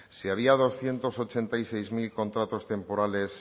si había doscientos ochenta y seis mil contratos temporales